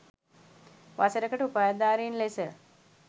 වසරකට උපාධිධාරීන් ලෙස